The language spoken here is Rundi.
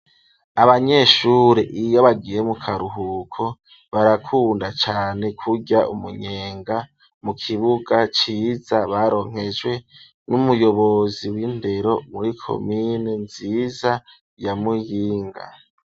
Abanyeshure iyo bagiye mu karuhuko barakunda cane kurya umunyenga mu kibuga ciza baronkejwe n'umuyobozi w'indero muri komine nziza ya Muyinga.